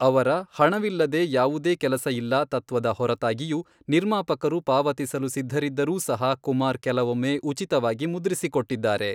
ಅವರ 'ಹಣವಿಲ್ಲದೆ ಯಾವುದೇ ಕೆಲಸ ಇಲ್ಲ' ತತ್ವದ ಹೊರತಾಗಿಯೂ, ನಿರ್ಮಾಪಕರು ಪಾವತಿಸಲು ಸಿದ್ಧರಿದ್ದರೂ ಸಹ ಕುಮಾರ್ ಕೆಲವೊಮ್ಮೆ ಉಚಿತವಾಗಿ ಮುದ್ರಿಸಿಕೊಟ್ಟಿದ್ದಾರೆ.